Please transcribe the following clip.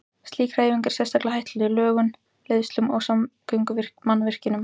Slík hreyfing er sérstaklega hættuleg lögnum, leiðslum og samgöngumannvirkjum.